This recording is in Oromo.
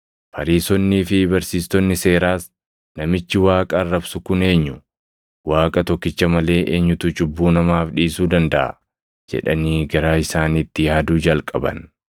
Fariisonnii fi barsiistonni seeraas, “Namichi Waaqa arrabsu kun eenyu? Waaqa tokkicha malee eenyutu cubbuu namaaf dhiisuu dandaʼa?” jedhanii garaa isaaniitti yaaduu jalqaban.